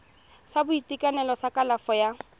sa boitekanelo sa kalafo ya